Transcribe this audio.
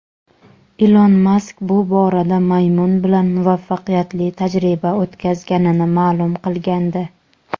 Ilon Mask bu borada maymun bilan muvaffaqiyatli tajriba o‘tkazganini ma’lum qilgandi.